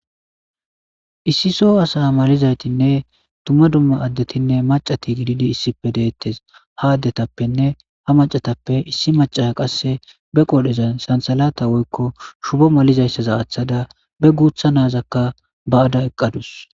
Issi soo asa malizaytinne tumma dumma addetinne macati gididi issipe deettes ha addetappenne ha macatappe issi macasha qasse be qodhezan sansalata woykko shubo malizayssaza aaththada be guutha naazakka ba'ada eqqadus.